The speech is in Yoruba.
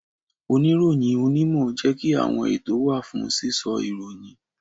Oniroyin onimo jẹ́ kí àwọn ètò wa fún sísọ ìròyìn